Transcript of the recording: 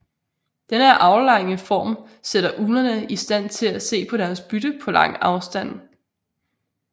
Denne aflange form sætter uglerne i stand til at se deres bytte på lang afstand